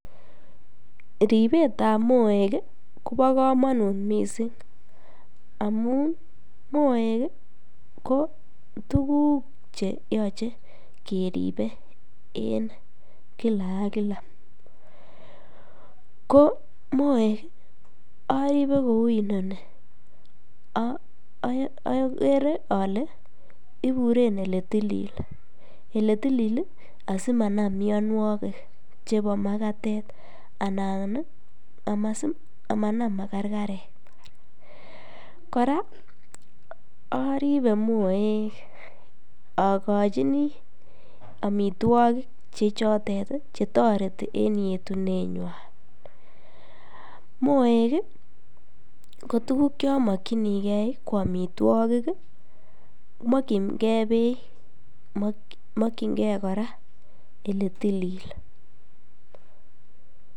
Ripet ap moek kopo komonut mising amu moek ko tukuuk cheyochei keripe en kila ak kila ko moek aripe kouninoni akere ale ipuren oletilil asimanam mionwokik chepo makatet anan amanam makarkarek kora aripe moek akochini amitwok chetotet chetoreti en yetunet ng'wan moek ko tukuuk chomokchinigei ko amitwokik mokchinke beek mokchinke kora ole tilil.